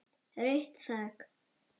Rautt þak.